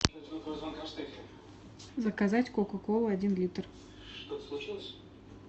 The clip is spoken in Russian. заказать кока колу один литр